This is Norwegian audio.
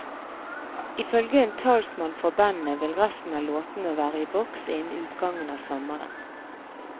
Ifølge en talsmann for bandet vil resten av låtene være i boks innen utgangen av sommeren.